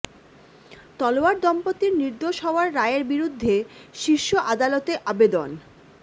তলওয়ার দম্পতির নির্দোষ হওয়ার রায়ের বিরুদ্ধে শীর্ষ আদালতে আবেদন